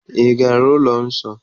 Ị gara ụlọ nsọ?